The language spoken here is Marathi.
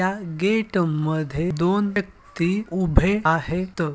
य गेट मध्ये दोन व्यक्ती उभे आहेत.